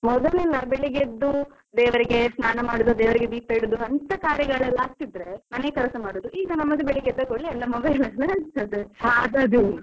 ಮೊದಲೆಲ್ಲ ಬೆಳ್ಳಿಗ್ಗೆ ಎದ್ದು ದೇವರಿಗೆ ಸ್ನಾನ ಮಾಡುವುದು ದೇವರಿಗೆ ದೀಪ ಇಡುದು ಅಂತ ಕಾರ್ಯಗಳೆಲ್ಲ ಆಗ್ತಾ ಇದ್ರೆ ಮನೆ ಕೆಲಸ ಮಾಡುವುದು ಈಗ ನಮ್ಮ ಬೆಳ್ಳಿಗ್ಗೆ ಎದ್ದ ಕೂಡ್ಲೇ ಎಲ್ಲ mobile .